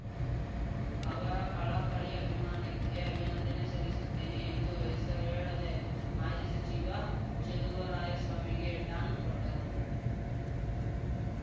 ಅವರ ಕಳಕಳಿ ಅಭಿಮಾನಕ್ಕೆ ಅಭಿನಂದನೆ ಸಲ್ಲಿಸುತ್ತೇನೆ ಎಂದು ಹೆಸರೇಳದೆ ಮಾಜಿ ಸಚಿವ ಚೆಲುವರಾಯಸ್ವಾಮಿಗೆ ಟಾಂಗ್‌ ಕೊಟ್ಟರು